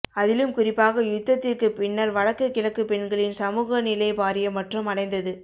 அதிலும் குறிப்பாக யுத்ததிற்கு பின்னர் வடக்கு கிழக்கு பெண்களின் சமூக நிலை பாரிய மற்றம் அடைந்தது